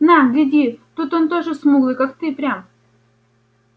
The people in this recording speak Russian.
на гляди тут он тоже смуглый как ты прям